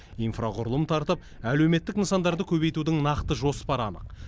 инфрақұрылым тартып әлеуметтік нысандарды көбейтудің нақты жоспары анық